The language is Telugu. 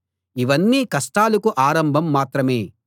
ఇవన్నీ కష్టాలకు ఆరంభం మాత్రమే